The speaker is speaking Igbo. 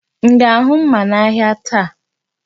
M ga-ahụ mma n'ahịa taa?